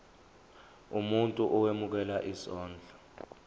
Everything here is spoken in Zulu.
umuntu owemukela isondlo